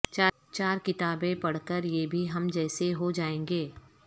چار کتابیں پڑھ کر یہ بھی ہم جیسے ہو جائیں گے